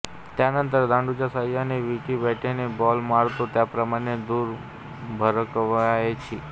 त्यानंतर दांडूच्या सहाय्याने विटी बॅटने बॉल मारतो त्याप्रमाणे दूर भिरकवायची